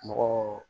Mɔgɔ